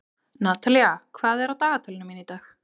Natalía, hvað er á dagatalinu mínu í dag?